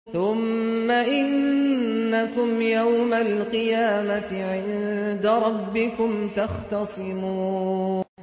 ثُمَّ إِنَّكُمْ يَوْمَ الْقِيَامَةِ عِندَ رَبِّكُمْ تَخْتَصِمُونَ